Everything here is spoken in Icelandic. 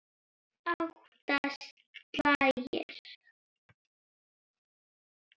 Átta slagir.